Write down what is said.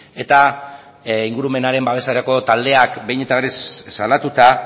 eta ingurumenaren babeserako taldeak behin eta berriz salatuta